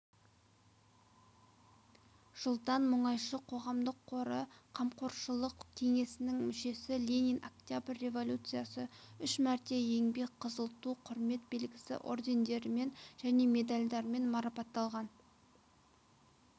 жылдан мұнайшы қоғамдық қоры қамқоршылық кеңесінің мүшесі ленин октябрь революциясы үш мәрте еңбек қызыл ту құрмет белгісі ордендерімен және медальдармен марапатталған